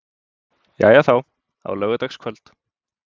Jæja þá, á laugardagskvöld.